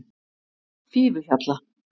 Fífuhjalla